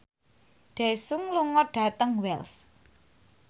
Daesung lunga dhateng Wells